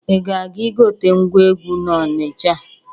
Ị ga-aga igote ngwa egwu n'Ọnicha.